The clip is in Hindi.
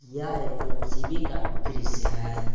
यह एक एम_सी_वी का दृश्य है।